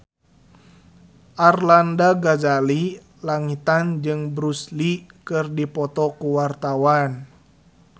Arlanda Ghazali Langitan jeung Bruce Lee keur dipoto ku wartawan